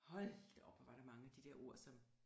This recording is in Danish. Hold da op hvor var der mange af de der ord som